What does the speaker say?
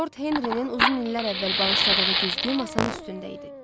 Lord Henri-nin uzun illər əvvəl bağışladığı güzgü masanın üstündə idi.